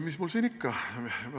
Mis mul siin ikka ...